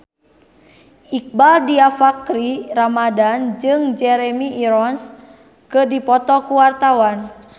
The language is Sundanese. Iqbaal Dhiafakhri Ramadhan jeung Jeremy Irons keur dipoto ku wartawan